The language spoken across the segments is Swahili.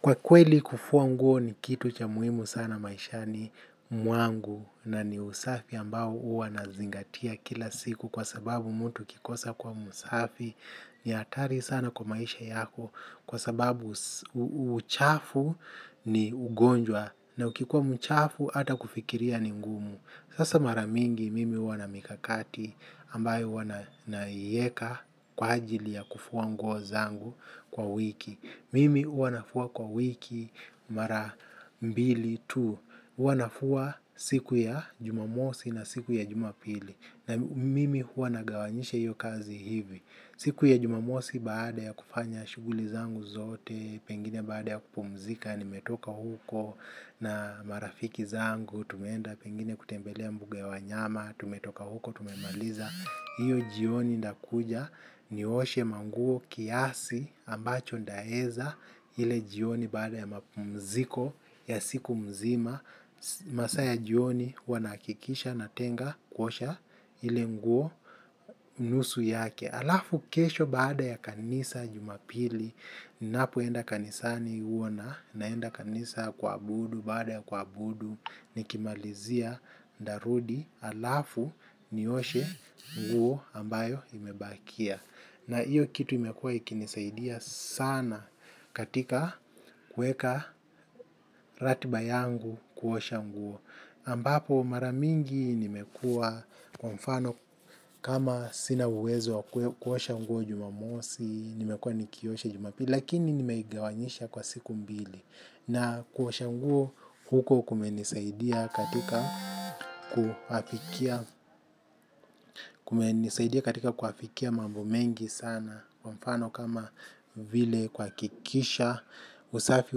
Kwa kweli kufua nguo ni kitu cha muhimu sana maishani mwangu na ni usafi ambao huwa inazingatia kila siku kwa sababu mtu akikosa kuwa msafi ni hatari sana kwa maisha yako kwa sababu uchafu ni ugonjwa na ukikuwa mchafu ata kufikiria ni ngumu. Sasa mara mingi mimi huwa na mikakati ambayo huwa naieka kwa ajili ya kufua nguo zangu kwa wiki. Mimi huwa nafua kwa wiki mara mbili tu. Huwa nafua siku ya jumamosi na siku ya jumapili. Na mimi huwa nagawanyisha hiyo kazi hivi. Siku ya jumamosi baada ya kufanya shughuli zangu zote, pengine baada ya kupumzika, nimetoka huko na marafiki zangu, tumeenda pengine kutembelea mbuga ya wanyama tumetoka huko, tumemaliza hiyo jioni ndakuja nioshe manguo kiasi ambacho ndaeza ile jioni baada ya mziki ya siku mzima masaa ya jioni huwa nahakikisha natenga kuosha ile nguo nusu yake alafu kesho baada ya kanisa jumapili napoenda kanisani huona naenda kanisa kuabudu baada ya kuabudu. Nikimalizia ndarudi alafu nioshe nguo ambayo imebakia. Na hiyo kitu imekua ikinisaidia sana katika kuweka ratiba yangu kuosha nguo ambapo mara mingi nimekua kwa mfano kama sina uwezo kuosha nguo jumamosi. Nimekua nikiosha jumapi lakini nimeigawanyisha kwa siku mbili. Na kuosha nguo huko kumenisaidia katika kuafikia mambo mengi sana kwa mfano kama vile kuhakikisha usafi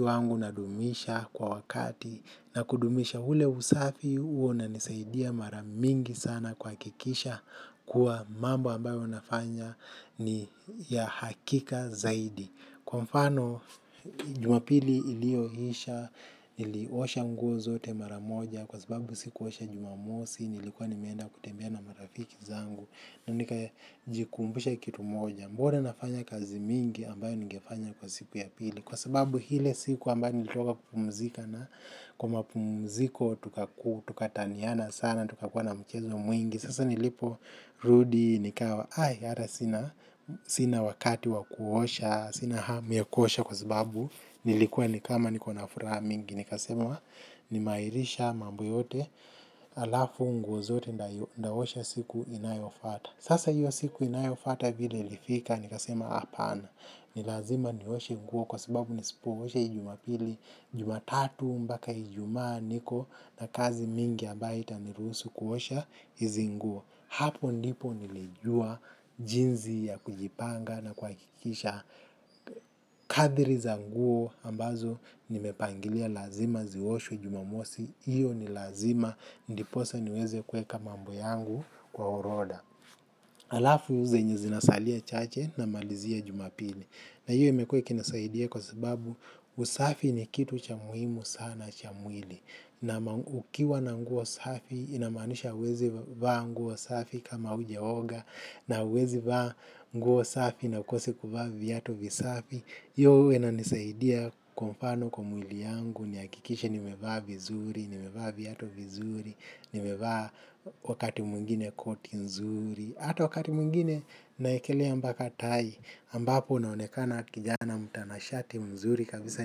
wangu unadumisha kwa wakati na kudumisha ule usafi huo unanisaidia mara mingi sana kuhakikisha kwa mambo ambayo unafanya ni ya hakika zaidi. Kwa mfano jumapili ilioisha, iliosha nguo zote mara moja. Kwa sababu sikuosha jumamosi, nilikuwa nimeenda kutembea na marafiki zangu. Nikajikumbusha kitu moja, mbona nafanya kazi mingi ambayo ningefanya kwa siku ya pili. Kwa sababu ile siku ambayo nilitoka kupumzika na kwa mapumziko tukataniana sana, tukakua na mchezo mwingi. Sasa nilipo rudi nikawa, ai hata sina wakati wa kuosha, sina hamu ya kuosha kwa sababu nilikuwa ni kama nikona furaha mingi. Nikasema nimeairisha mambo yote alafu nguo zote ndaosha siku inayofata. Sasa hiyo siku inayofata vile lifika nikasema apana. Ni lazima nioshe nguo kwa sababu nisipoosha hii jumapili, hii jumatatu mbaka ijumaa niko na kazi mingi abayo haitaniruhusu kuosha hizi nguo. Hapo ndipo nilijua jinzi ya kujipanga na kuhakikisha kadiri za nguo ambazo nimepangilia lazima zioshwe jumamosi hiyo ni lazima ndiposa niweze kueka mambo yangu kwa oroda. Alafu zenye zinasalia chache namalizia jumapili na hiyo imekua ikinisaidia kwa sababu usafi ni kitu cha muhimu sana cha mwili na ukiwa na nguo safi inamaanisha huwezi vaa nguo safi kama hujaoga na huwezi vaa nguo safi na hukosi kuvaa viatu vizafi hiyo uwa inanisaidia kwa mfano kwa mwili yangu nihakikishe nimevaa vizuri, nimevaa viatu vizuri nimevaa wakati mwengine koti nzuri na hata wakati mwengine naekelea mbaka tai ambapo naonekana kijana mtanashati mzuri kabisa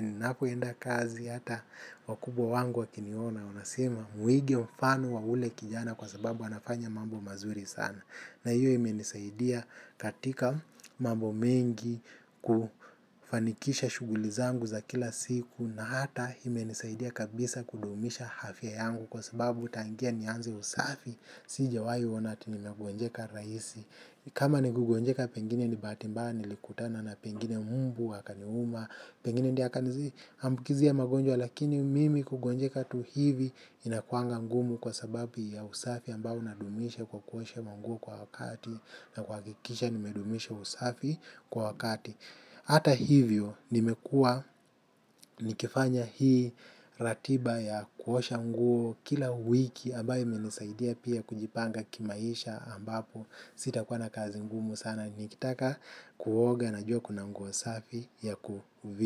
ninapoenda kazi hata wakubwa wangu wakiniona wanasema muige mfano wa ule kijana kwa sababu anafanya mambo mazuri sana. Na hiyo imenisaidia katika mambo mengi kufanikisha shughuli zangu za kila siku na ata imenisaidia kabisa kudumisha afya yangu kwa sababu tangia nianze usafi sijawai ona ati nimegonjeka raisi. Kama ni kugonjeka pengine ni bahati mbaya nilikutana na pengine mbu akaniuma pengine ndiye akaniambukizia magonjwa lakini mimi kugonjeka tu hivi inakuanga ngumu kwa sababu ya usafi ambayo nadumisha kwa kuosha manguo kwa wakati na kuhakikisha kudumisha usafi kwa wakati ata hivyo nimekua nikifanya hii ratiba ya kuosha mungu kila wiki ambayo imenisaidia pia kujipanga kimaisha ambapo sitakuwa na kazi ngumu sana nikitaka kuoga najua kuna mungu usafi ya kuvibu.